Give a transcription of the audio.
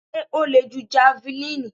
Sé o le ju javelin?